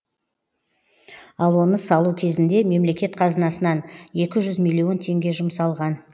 ал оны салу кезінде мемлекет қазынасынан екі жүз милион теңге жұмсалған